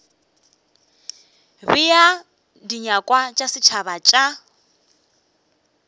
bea dinyakwa tša setšhaba tša